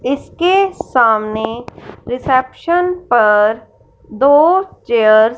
इसके सामने रिसेप्शन पर दो चेयर्स --